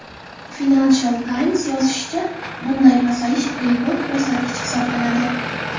Financial Times yozishicha, bunday pasayish rekord ko‘rsatkich hisoblanadi.